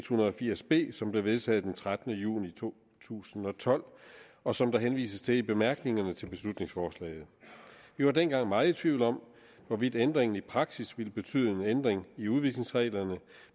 hundrede og firs b som blev vedtaget den trettende juni to tusind og tolv og som der henvises til i bemærkningerne til beslutningsforslaget vi var dengang meget i tvivl om hvorvidt ændringen i praksis ville betyde en ændring i udvisningsreglerne